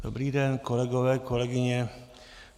Dobrý den, kolegové, kolegyně.